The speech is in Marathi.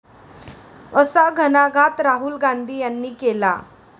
असा घणाघात राहुल गांधी यांनी केला.